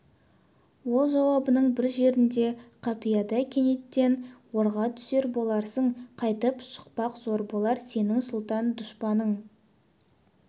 ол жауабының бір жерінде қапияда кенеттен орға түсер боларсың қайтып шықпақ зор болар сенің сұлтан дұшпаның